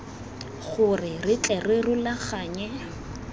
gore re tle re rulaganye